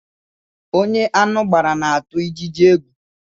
Ónyé aṅụ gbàrà na-atụ ijiji égwu